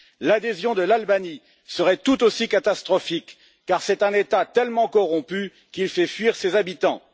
L'adhésion de l'Albanie serait tout aussi catastrophique, car c'est un État tellement corrompu qu'il fait fuir ses habitants.